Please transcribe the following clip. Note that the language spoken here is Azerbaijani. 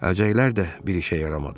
Əlcəklər də bir işə yaramadı.